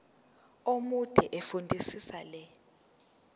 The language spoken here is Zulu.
omude fundisisa le